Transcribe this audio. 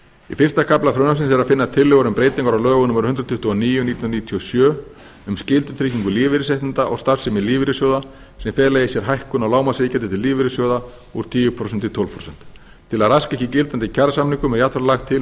í fyrsta kafla frumvarpsins er að finna tillögur um breytingar á lögum númer hundrað tuttugu og níu nítján hundruð níutíu og sjö um skyldutryggingu lífeyrisréttinda og starfsemi lífeyrissjóða sem fela í sér hækkun á lágmarksiðgjaldi til lífeyrissjóða úr tíu prósent í tólf prósent til að raska ekki gildandi kjarasamningum er jafnframt lagt til